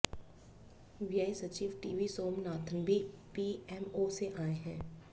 व्यय सचिव टीवी सोमनाथन भी पीएमओ से आए हैं